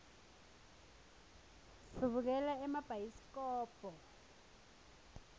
sibukela emabhayisikobho